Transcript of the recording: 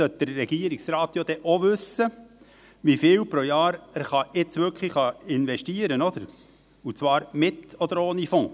Allerdings sollte der Regierungsrat auch wissen, wie viel er pro Jahr wirklich investieren kann, und zwar mit oder ohne Fonds.